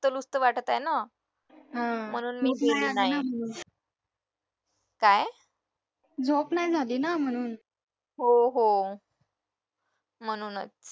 तर लुप्त वाटत आहे ना म्हणून मी गेली नाही हो हो म्हणूनच